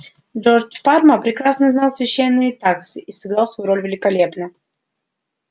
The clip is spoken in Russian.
джордж парма прекрасно знал священные тексты и сыграл свою роль великолепно